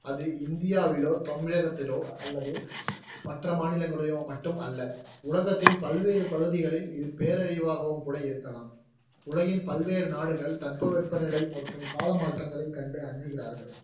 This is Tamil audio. அது இந்தியாவிலோ தமிழகத்திலோ மற்ற மாநிலங்களிலயோ மட்டும் அல்ல, உலகத்தின் பல்வேறு பகுதிகளில் பேரழிவாகவும் கூட இருக்கலாம் உலகின் பல்வேறு நாடுகள் தட்பவெப்ப நிலை மற்றும் கால மாற்றங்களை கண்டு அஞ்சுகிறார்கள்